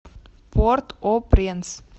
порт о пренс